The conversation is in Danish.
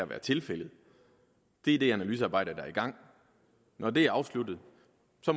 være tilfældet det er det analysearbejde der er i gang og når det er afsluttet